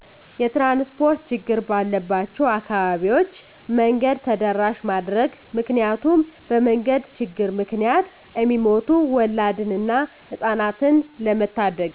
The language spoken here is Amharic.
የትራንስፖርት ችግር ባለባቸው አካባቢዎች መንገድ ተደራሺ ማድረግ ምክንያቱም በመንገድ ችግር ምክንያት እሚሞቱ ወላድን እና ህጻናትን ለመታደግ።